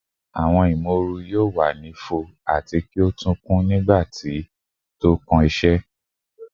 Awọn imooru yoo wa ni fo ati ki o tun kun nigba ti tókàn iṣẹ